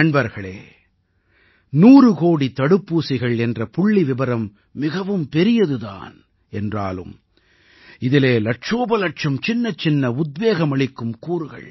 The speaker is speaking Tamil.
நண்பர்களே 100 கோடித் தடுப்பூசிகள் என்ற புள்ளிவிபரம் மிகவும் பெரியது தான் என்றாலும் இதிலே இலட்சோபலட்சம் சின்னச்சின்ன உத்வேகமளிக்கும் கூறுகள்